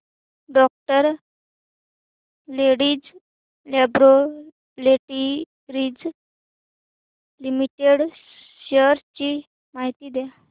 डॉ Reddy's Laboratories Limited shares ची माहिती द्या